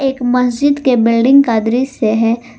एक मस्जिद के बिल्डिंग का दृश्य है।